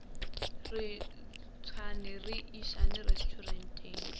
re ntšhane re išane resturenteng